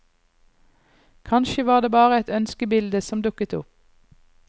Kanskje var det bare et ønskebilde som dukket opp.